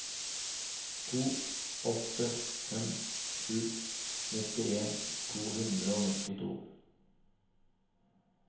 to åtte fem sju nittien to hundre og nittito